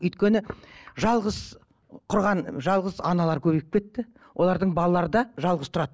өйткені жалғыз тұрған жалғыз аналар көбейіп кетті олардың балалары да жалғыз тұрады